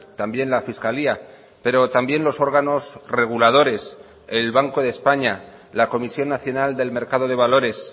también la fiscalía pero también los órganos reguladores el banco de españa la comisión nacional del mercado de valores